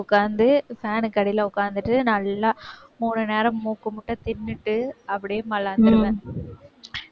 உட்கார்ந்து fan க்கு அடியில உட்கார்ந்துட்டு நல்லா மூணு நேரம் மூக்கு முட்ட தின்னுட்டு அப்படியே மல்லாந்திருவேன்